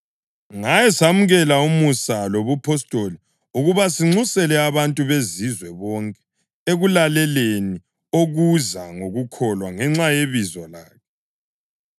Ngaye samukela umusa lobupostoli ukuba sinxusele abantu beZizwe bonke ekulaleleni okuza ngokukholwa ngenxa yebizo lakhe.